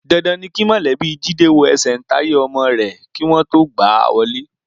Dandan ni kí mọ̀lẹ́bí Jídé wo ẹsẹ̀ǹtáyé ọmọ rẹ̀ kí wọn tó gbà á wọlé.